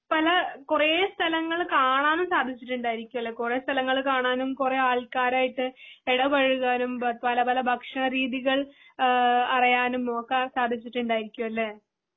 പല കുറെ സ്ഥലങ്ങള് കാണാനും സാധിച്ചിട്ടുണ്ടായിരിക്കും അല്ലെ. കുറെ സ്ഥലങ്ങള് കാണാനും കുറെ ആൾക്കരയിട്ട് ഇടപെഴകാനും പല പല ഭക്ഷണ രീതികൾ ആ അറിയാനും ഒക്കെ സാധിച്ചിട്ടുണ്ടായിരിക്കും അല്ലെ?